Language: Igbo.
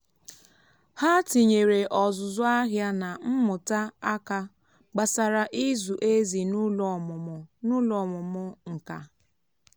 ha tinyeere ọzụzụ ahịa na mmụta aka gbasara ịzụ ezì n’ụlọ ọmụmụ n’ụlọ ọmụmụ nka.